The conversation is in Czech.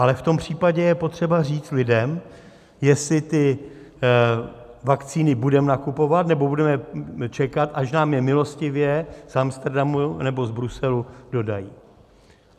Ale v tom případě je potřeba říct lidem, jestli ty vakcíny budeme nakupovat, nebo budeme čekat, až nám je milostivě z Amsterodamu nebo z Bruselu dodají.